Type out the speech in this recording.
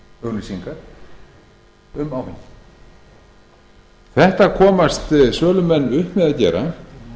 auglýsingar um áfengi þetta komast sölumenn upp með að gera